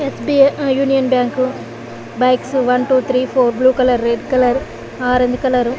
yes _B_ I union bank bikes one two three four blue colour red colour orange colour --